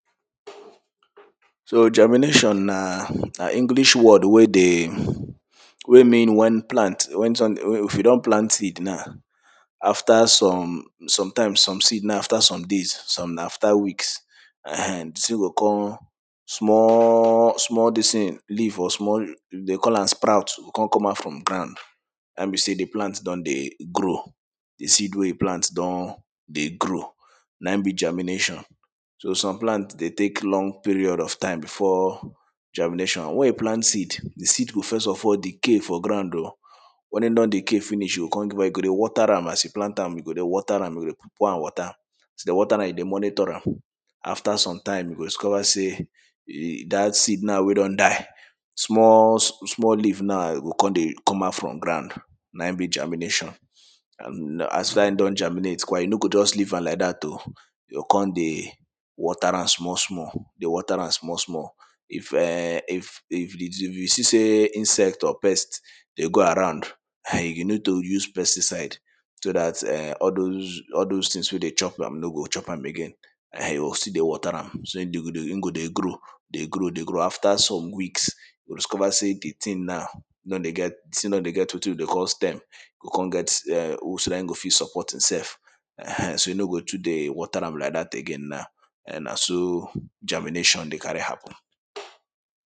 So germination na English word wey dey wey mean wen plant if you don plant seed na after some sometime some seed na after some days some na after weeks um di thing go come, small small this thing, leave or small dey call am sprout go come out from ground, na hin be sey di plant don dey grow di seed wey you plant don dey grow na hin be germination so some plant dey take long period of time before germination. Wen you plant seed, di seed go first of all decay for ground oh wen e don dey decay finish e go come you go dey water am as you plant am, you go dey water am you go dey pour am water. As you dey water am, you dey monitor am. After some time, you go discover sey dat seed na wen don die, small, small leave na go come dey come out from ground na hin be germination. e don germinate kwa, you no go just leave am like dat oh you go come dey water am small small, dey water am small small If um, if you see sey insect or pest dey go around you need to use pesticides so dat em all those all those things wey dey chop am no go chop am again you go still water am, so im go dey grow, dey grow, dey grow after some weeks you go discover sey di thing na don dey get the thing don dey get wetin we dey call stem go come get um hooks na hin go fit support itself um so you no go too dey water am like dat again now, um na so germination dey carry happen